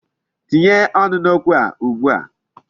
Tinye ọnụ n'okwu a ugbu a.